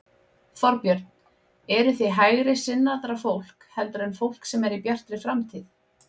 Þorbjörn: Eruð þið hægri sinnaðra fólk heldur en fólk sem er í Bjartri framtíð?